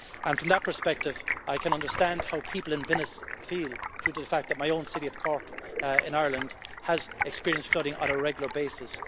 From that perspective, I can understand how people in Venice feel, owing to the fact that my own city of Cork in Ireland has experienced flooding on a regular basis.